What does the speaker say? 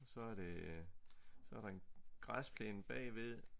Og så det så er der en græsplane bagved